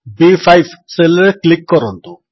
ବି5 cell ରେ click କରନ୍ତୁ